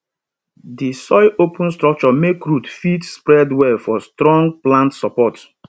di soil open structure make root fit spread well for strong plant support